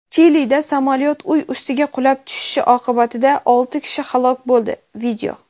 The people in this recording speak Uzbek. Chilida samolyot uy ustiga qulab tushishi oqibatida olti kishi halok bo‘ldi.